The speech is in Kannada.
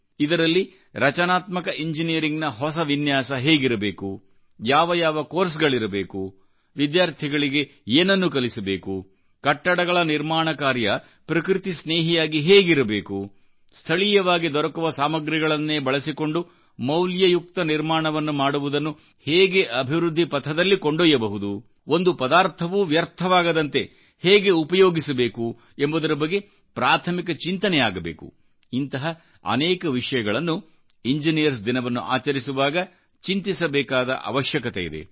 ಇದರಲ್ಲಿ ರಚನಾತ್ಮಕ ಇಂಜಿನಿಯರಿಂಗ್ನ ಹೊಸ ವಿನ್ಯಾಸ ಹೇಗಿರಬೇಕು ಯಾವ ಯಾವ ಕೋರ್ಸ್ಗಳಿರಬೇಕು ವಿದ್ಯಾರ್ಥಿಗಳಿಗೆ ಏನನ್ನುಕಲಿಸಬೇಕು ಕಟ್ಟಡಗಳ ನಿರ್ಮಾಣ ಕಾರ್ಯ ಪ್ರಕೃತಿಸ್ನೇಹಿಯಾಗಿ ಹೇಗಿರಬೇಕುಸ್ಥಳೀಯವಾಗಿ ದೊರಕುವ ಸಾಮಗ್ರಿಗಳನ್ನೇ ಬಳಸಿಕೊಂಡುಮೌಲ್ಯಯುಕ್ತ ನಿರ್ಮಾಣವನ್ನು ಮಾಡುವುದನ್ನು ಹೇಗೆ ಅಭಿವೃದ್ಧಿ ಪಥದಲ್ಲಿ ಕೊಂಡೊಯ್ಯಬಹುದುಒಂದು ಪದಾರ್ಥವೂ ವ್ಯರ್ಥವಾಗದಂತೆ ಹೇಗೆಉಪಯೋಗಿಸಬೇಕು ಎಂಬುದರ ಬಗ್ಗೆ ಪ್ರಾಥಮಿಕ ಚಿಂತನೆ ಆಗಬೇಕುಇಂತಹ ಅನೇಕ ವಿಷಯಗಳನ್ನು ಇಂಜಿನಿಯರ್ಸ್ ದಿನವನ್ನು ಆಚರಿಸುವಾಗಚಿಂತಿಸಬೇಕಾದ ಅವಶ್ಯಕತೆ ಇದೆ